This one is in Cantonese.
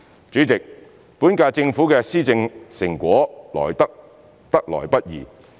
主席，本屆政府的施政成果得來不易。